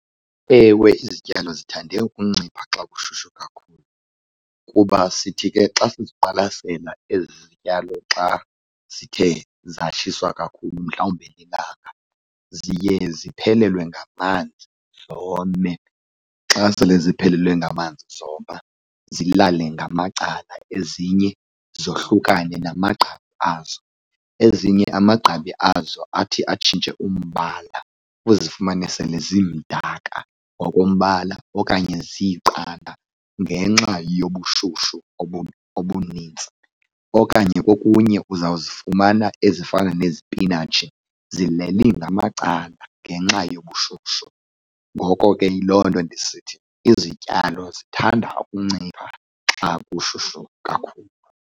Ewe, izityalo zithande ukuncipha xa kushushu kakhulu kuba sithi ke xa siziqwalasela ezi zityalo xa zithe zatshiswa kakhulu mhlawumbe lilanga, ziye ziphelelwe ngamanzi zome. Xa sele ze ziphelelwe ngamanzi zoma zilale ngamacala, ezinye zohlukane namagqabi azo. Ezinye amagqabi azo athi atshintshe umbala, uzifumane sele zimdaka ngokombala okanye ziiqanda ngenxa yobushushu obunintsi okanye kokunye uzawuzifumana ezifana nezipinatshi zileli ngamacala ngenxa yobushushu. Ngoko ke yiloo nto ndisithi izityalo zithanda ukuncipha xa kushushu kakhulu.